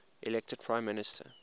elected prime minister